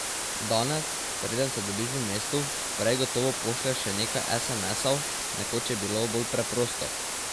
Danes, preden se dobiš v mestu, prej gotovo pošlješ še nekaj esemesov, nekoč je bilo bolj preprosto.